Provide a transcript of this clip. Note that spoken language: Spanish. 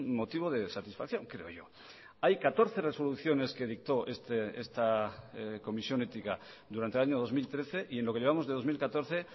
motivo de satisfacción creo yo hay catorce resoluciones que dictó esta comisión ética durante el año dos mil trece y en lo que llevamos de dos mil catorce